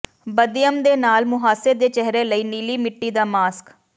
ਬਦਯਮ ਦੇ ਨਾਲ ਮੁਹਾਸੇ ਦੇ ਚਿਹਰੇ ਲਈ ਨੀਲੀ ਮਿੱਟੀ ਦਾ ਮਾਸਕ